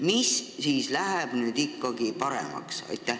Mis siis nüüd ikkagi paremaks läheb?